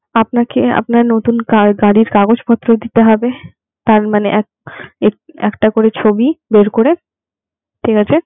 আপনাকে আপনার নতুন গা~ গাড়ির কাগজ দিতে হবে তার মানে এক এক একটা করে ছবি বের করে ঠিক আছে?